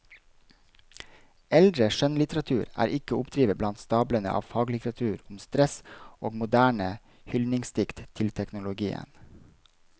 Eldre skjønnlitteratur er ikke å oppdrive blant stablene av faglitteratur om stress og moderne hyldningsdikt til teknologien.